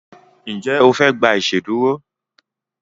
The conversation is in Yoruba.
Njé ofe gbà iṣeduro?